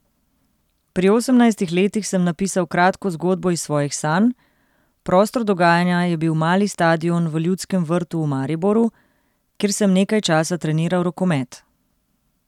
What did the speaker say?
Pri osemnajstih letih sem napisal kratko zgodbo iz svojih sanj, prostor dogajanja je bil mali stadion v Ljudskem vrtu v Mariboru, kjer sem nekaj časa treniral rokomet.